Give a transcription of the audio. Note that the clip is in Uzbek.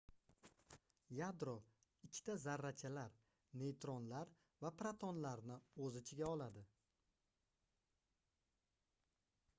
yadro ikkita zarrachalar neytronlar va protonlarni oʻz ichiga oladi